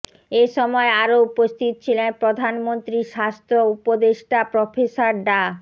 এসময় আরো উপস্থিত ছিলেন প্রধানমন্ত্রীর স্বাস্থ্য উপদেষ্টা প্রফেসর ডা